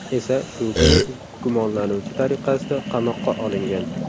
esa shu kuni gumonlanuvchi tariqasida qamoqqa olingan.